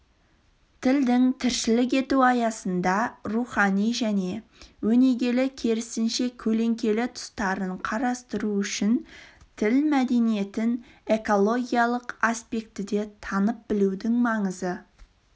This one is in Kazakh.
тілдің тіршілік ету аясында рухани және өнегелі керісінше көлеңкелі тұстарын қарастыру үшін тіл мәдениетін экологиялық аспектіде танып-білудің маңызы